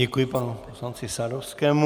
Děkuji panu poslanci Sadovskému.